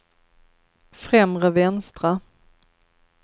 främre vänstra